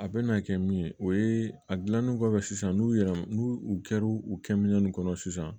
A bɛ na kɛ min ye o ye a dilannen kɔfɛ sisan n'u yɛrɛ n'u u kɛr'u kɛ minɛn kɔnɔ sisan